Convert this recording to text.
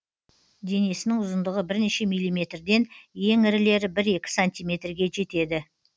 денесінің ұзындығы бірнеше миллиметрден ең ірілері бір екі сантиметрге жетеді